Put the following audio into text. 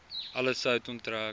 alle sout onttrek